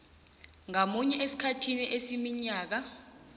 ngamunye esikhathini esiminyaka